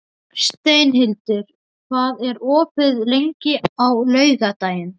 Steinhildur, hvað er opið lengi á laugardaginn?